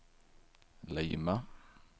Lima